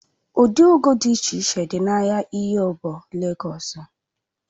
Ụdị ugu dị iche iche dị n'ahịa oyingbo Legọs